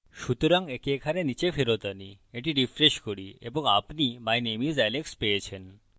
সুতরাং একে এখানে নীচে ফেরত আনি এটি refresh করি এবং আপনি my name is alex পেয়েছেন